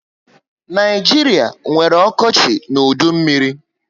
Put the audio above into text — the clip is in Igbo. Naijiria nwere okochi na udu mmírí